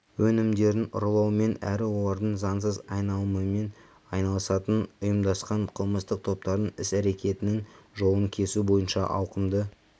өнімдерін ұрлаумен әрі олардың заңсыз айналымымен айналысатын ұйымдасқан қылмыстық топтардың іс-әрекетінің жолын кесу бойынша ауқымды